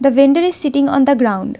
The vendor is sitting on the ground .